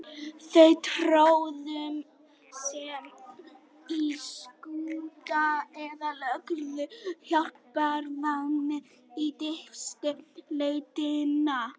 Þau tróðu sér í skúta eða lögðust hjálparvana í dýpstu lautirnar.